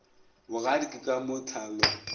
bogadi ke ka mo tlhalo